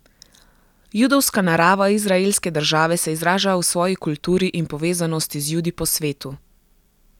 Judovska narava izraelske države se izraža v svoji kulturi in povezanosti z Judi po svetu.